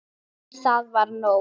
En það var nóg.